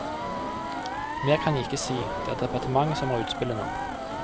Mer kan jeg ikke si, det er departementet som har utspillet nå.